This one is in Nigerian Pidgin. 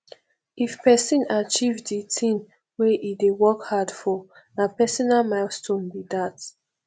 if pesin achieve de thing wey e dey work hard for na personal milestone be that